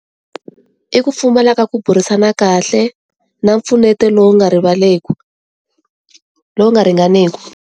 I ku pfumala ka ku burisana kahle, na mpfuneto lowu nga rivaleku lowu nga ringaniku.